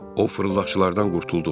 O fırıldaqçılardan qurtulduq.